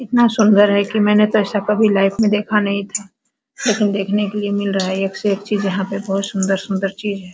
इतना सुन्दर है की मैंने अपने लाइफ में ऐसा देखा नहीं था लेकिन देखने को मील रहा है एक से एक चीज़ है यहाँ सुंदर-सुंदर चीज़ है।